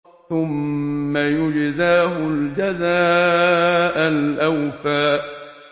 ثُمَّ يُجْزَاهُ الْجَزَاءَ الْأَوْفَىٰ